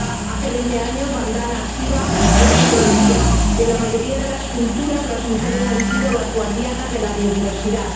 Hace veinte años Vandana Shiva ya nos lo decía en la mayoría de las culturas, las mujeres han sido las guardianas de la biodiversidad.